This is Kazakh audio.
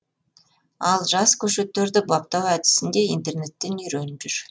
ал жас көшеттерді баптау әдісін де интернеттен үйреніп жүр